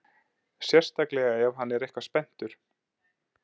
Sérstaklega ef hann er eitthvað spenntur.